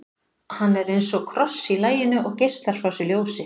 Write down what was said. hann er eins og kross í laginu og geislar frá sér ljósi